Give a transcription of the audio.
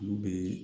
Olu bɛ